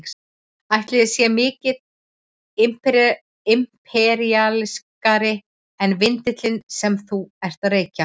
Ætli hann sé mikið imperíalískari en vindillinn sem þú ert að reykja?